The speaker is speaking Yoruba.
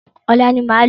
Ọ̀la ni máa lọ.